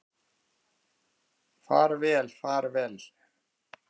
Far vel far vel.